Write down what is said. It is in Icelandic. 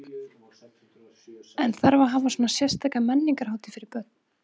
En þarf að hafa svona sérstaka menningarhátíð fyrir börn?